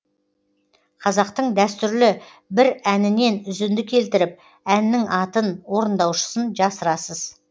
қазақтың дәстүрлі бір әнінен үзінді келтіріп әннің атын орындаушысын жасырасыз